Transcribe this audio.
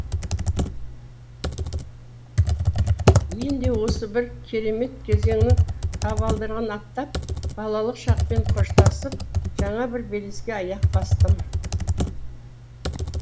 мен де осы бір керемет кезеңнің табалдырығын аттап балалық шақпен қоштасып жаңа бір белеске аяқ бастым